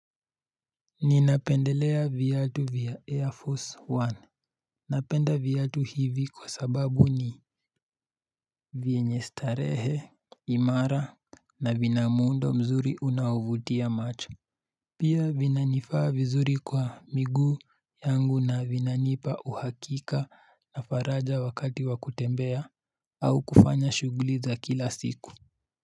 Ninapendelea viatu vya air force one Napenda viatu hivi kwa sababu ni vyenye starehe imara na vina muundo mzuri unao vutia macho Pia vinanifaa vizuri kwa miguu yangu na vinanipa uhakika na faraja wakati wa kutembea au kufanya shuguli za kila siku.